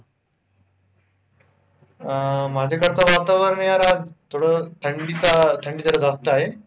अं माझ्याकडेच वातावरण यार, आज थोडं थंडीचा अं थंडी जरा जास्त आहे,